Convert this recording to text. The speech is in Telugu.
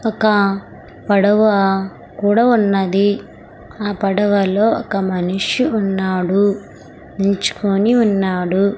ఒక పడవ కూడా ఉన్నది ఆ పడవలో ఒక మనిషి ఉన్నాడు నించుకొని ఉన్నాడు.